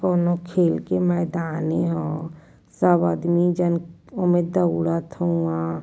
कोनो खेल के मैदानई ह। सब आदमी जन ओमे दौड़त हाउवन।